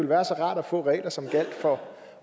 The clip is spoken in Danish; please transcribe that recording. være rart at få regler som gjaldt for